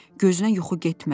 Gözünə yuxu getmədi.